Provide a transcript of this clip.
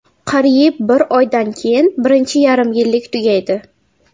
Qariyb bir oydan keyin birinchi yarim yillik tugaydi.